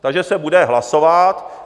Takže se bude hlasovat.